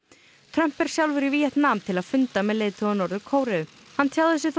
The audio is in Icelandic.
Trump er sjálfur í Víetnam til að funda með leiðtoga Norður Kóreu hann tjáði sig